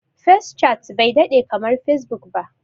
Fescat bai daɗe kamar Fesbuk ba.